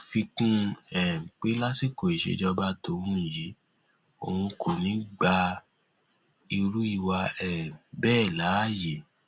ó fi kún un um pé lásìkò ìṣèjọba tóun yìí òun kò ní í gba irú ìwà um bẹẹ láàyè